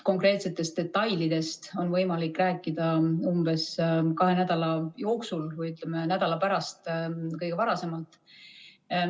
Konkreetsetest detailidest on võimalik rääkida umbes kahe nädala pärast kõige varasemalt.